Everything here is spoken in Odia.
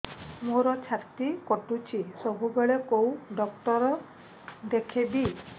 ମୋର ଛାତି କଟୁଛି ସବୁବେଳେ କୋଉ ଡକ୍ଟର ଦେଖେବି